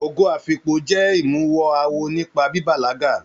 Ogo afikpo jẹ imuwọ̀ awo nípa bíbalaga.